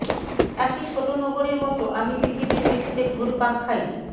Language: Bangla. একটি ছোট নোঙরের মতো আমি পৃথিবীর মেঝেতে ঘুরপাক খাই